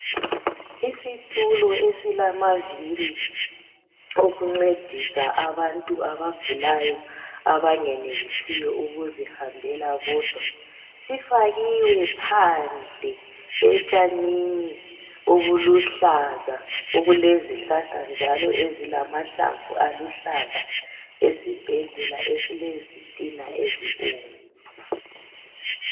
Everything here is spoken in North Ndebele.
isistulo esilamaviri okuncedisa abantu abagulayo abengenelisiyo ukuzihambela bodwa sifakiwe phandle etshanini obuluhlaza okulezihlahla njalo ezilamahlamvu aluhlaza esibhedlela esilezitina ezibomvu